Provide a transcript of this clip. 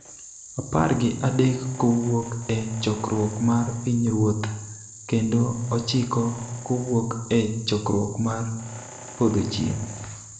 Apar gi adekkowuok e Chokruok mar Pinyruoth kendo ochiko kowuok e Chokruok mar Podhochieng�.